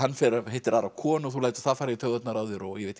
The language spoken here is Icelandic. hittir aðra konu og þú lætur það fara í taugarnar á þér og ég veit ekki